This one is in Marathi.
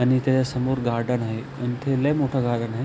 आणि त्याच्यासमोर गार्डन आहे आणि ते लय मोठ गार्डन आहे.